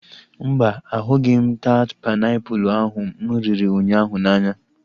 Mba, ahụghị taat painiapulu ahu mụ riri ụnyaahụ n'anya